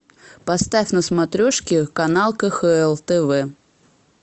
поставь на смотрешке канал кхл тв